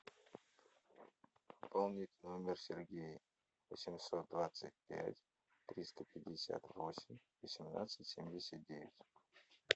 пополнить номер сергей восемьсот двадцать пять триста пятьдесят восемь восемнадцать семьдесят девять